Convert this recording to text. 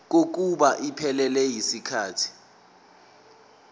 kokuba iphelele yisikhathi